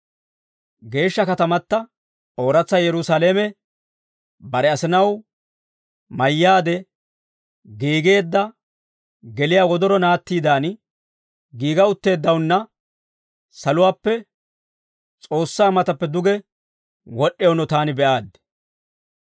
Geeshsha katamata ooratsa Yerusaalame, bare asinaw mayyaade giigeedda geliyaa wodoro naattiidan, giiga utteeddawunna saluwaappe S'oossaa matappe duge wod'd'ewunno taani be'aaddi.